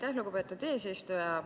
Aitäh, lugupeetud eesistuja!